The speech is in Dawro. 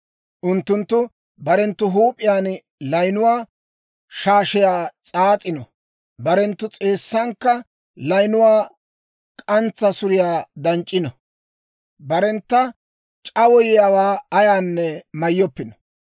Unttunttu barenttu huup'iyaan layinuwaa shaashiyaa s'aas'ino; barenttu s'eessankka layinuwaa k'antsa suriyaa danc'c'ino. Barentta c'awayiyaawaa ayaanne mayyoppino.